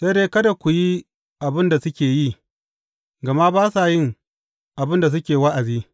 Sai dai kada ku yi abin da suke yi, gama ba sa yin abin da suke wa’azi.